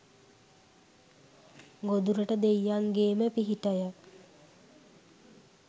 ගොදුරට දෙයියන්ගේම පිහිටය